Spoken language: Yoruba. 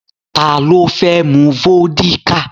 Ta ló fẹ́ mu vódíkà?